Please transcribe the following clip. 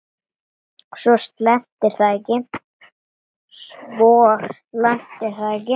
Svo slæmt er það ekki.